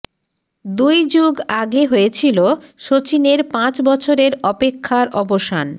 দুই যুগ আগে হয়েছিল শচীনের পাঁচ বছরের অপেক্ষার অবসান